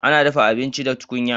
Ana dafa abinci da tukunya.